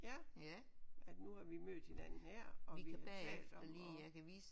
Ja at nu har vi mødt hinanden og vi har talt sammen og